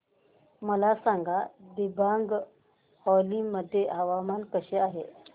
मला सांगा दिबांग व्हॅली मध्ये हवामान कसे आहे